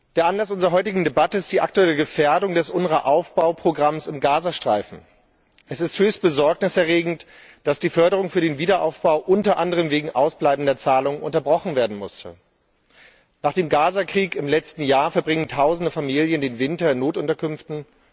Der Anlass unserer heutigen Debatte ist die aktuelle Gefährdung des UNRWA Aufbauprogrammes im Gazastreifen. Es ist höchst besorgniserregend, dass die Förderung für den Wiederaufbau unter anderem wegen ausbleibender Zahlungen unterbrochen werden musste. Nach dem Gazakrieg im letzten Jahr verbringen tausende Familien den Winter in Notunterkünften.